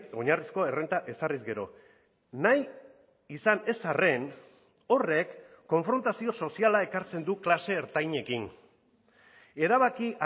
oinarrizko errenta ezarriz gero nahi izan ez arren horrek konfrontazio soziala ekartzen du klase ertainekin erabaki